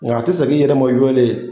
Nka a tɛ segin i yɛrɛ ma o yɔlen